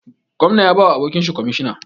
Gwamna ya bawa abokinshi kwamishina